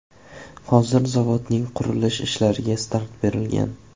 Hozir zavodning qurilish ishlariga start berilgan.